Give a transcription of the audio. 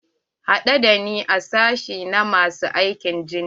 Haɗu da ni a sashi na masu aikin jinya.